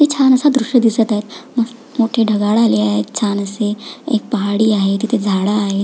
इथे छान अस दृश दिसत आहे मोठी ढगाळ आली आहेत छान असे एक पहाडी आहे तिथे झाड आहेत.